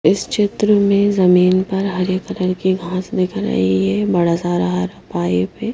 इस चित्र में जमीन पर हरे कलर की घास दिख रही है बड़ा सारा हरा पाइप है।